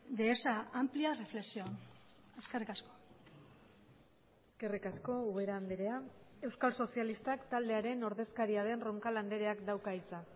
de esa amplia reflexión eskerrik asko eskerrik asko ubera andrea euskal sozialistak taldearen ordezkaria den roncal andreak dauka hitza